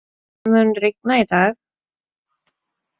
Arnviður, mun rigna í dag?